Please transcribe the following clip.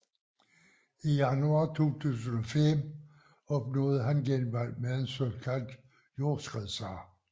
I januar 2005 opnåede han genvalg med en såkaldt jordskredssejr